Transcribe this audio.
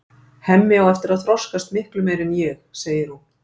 Hemmi á eftir að þroskast miklu meira en ég, segir hún.